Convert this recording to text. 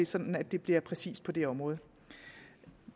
sådan at det bliver præcist på det område